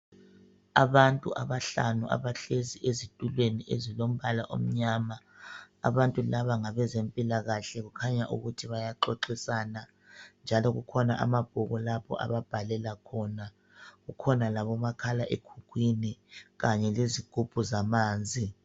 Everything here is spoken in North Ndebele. Abantu abahlanu abahlezi ezitulweni ezilombala omnyama. Abantu laba ngabezempilakahle, kukhanya ukuthi bayaxoxisana njalo kukhona amabhuku lapho ababhalela khona. Kukhona labomakhala ekhukhwini kanye lezigubhu zamanzi.